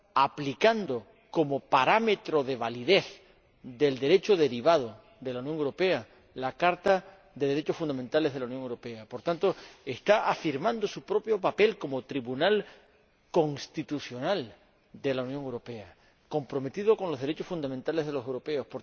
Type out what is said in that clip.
aplicando como parámetro de validez del Derecho derivado de la Unión Europea la Carta de los Derechos Fundamentales de la Unión Europea. Por tanto, está afirmando su propio papel como Tribunal constitucional de la Unión Europea, comprometido con los derechos fundamentales de los europeos.